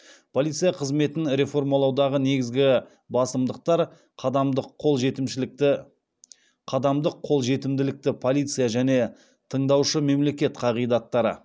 полиция қызметін реформалаудағы негізгі басымдықтар қадамдық қол жетімділіктегі полиция және тыңдаушы мемлекет қағидаттары